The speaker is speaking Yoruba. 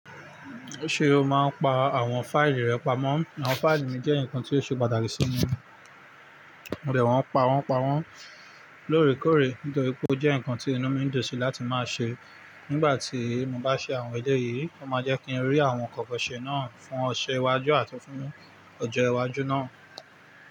Ṣé o máa ń pa àwọn fáìlì rẹ pamọ́? Àwọn fáìlì mi jẹ́ nǹkan tó ṣe pàtàkì sí mi, mo bẹ̀ wọ́n pa wọ́n pa wọ́n lóòrèkóòrè, nítorí pé ó jẹ́ nǹkan tí inú mi ń dùn sí láti máa ṣe. Nígbà tí mo bá ṣe àwọn ẹlẹ́yìí, ó máa jẹ́ kí ń rí àwọn nkankan se náà fún ọṣe iwájú àti fún ọjọ́ iwájú náà.